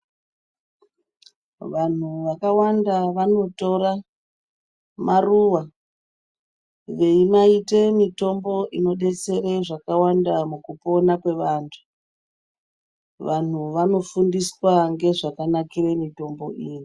Vantu vakawanda vanotora maruva veimaita mitombo inodetsere zvakàwanda mukupona kwevantu, vantu vanofundiswa ngezvakanakira mitombo iyi.